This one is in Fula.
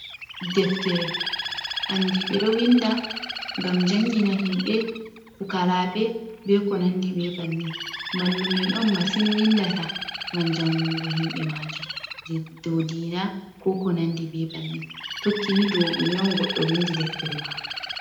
Deftere andiɓe ɗo winda ngam jangina himɓe pukarabe, be ko nandi be bannin, mallum en on masin windata ngam jangungo himɓe majum, je dow dina ko ko nandi be bannin tokki ni dow ɗume on goddo windi deftere mako.